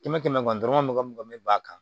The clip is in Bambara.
Kɛmɛ kɛmɛ dɔrɔmɛ mugan mun me b'a kan